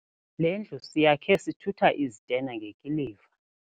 Le ndlu siyakhe sithutha izitena ngekiliva.